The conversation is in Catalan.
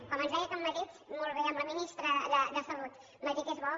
com ens deia que a madrid molt bé amb la ministra de salut madrid és bo